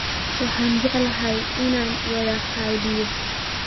Waxaan jeclaan lahaa inaan wada qadeeyo